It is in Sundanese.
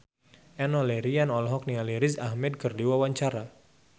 Enno Lerian olohok ningali Riz Ahmed keur diwawancara